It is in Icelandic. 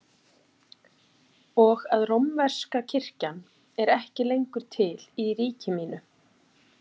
Og að rómverska kirkjan er ekki lengur til í ríki mínu?